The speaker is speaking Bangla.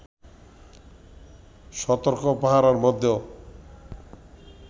সতর্ক পাহারার মধ্যেও